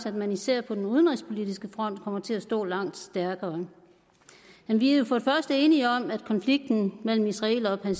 at man især på den udenrigspolitiske front kommer til at stå langt stærkere vi er for det første enige om at konflikten mellem israelere og